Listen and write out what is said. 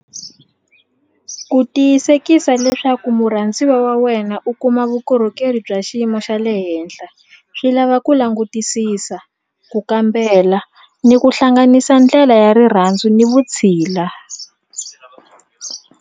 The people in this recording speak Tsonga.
Ku tiyisekisa leswaku murhandziwa wa wena u kuma vukorhokeri bya xiyimo xa le henhla swi lava ku langutisisa ku kambela ni ku hlanganisa ndlela ya rirhandzu ni vutshila.